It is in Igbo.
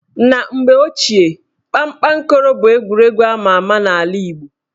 Na mgbe ochie, kpakpankoro bụ egwuregwu ama ama n' ala Igbo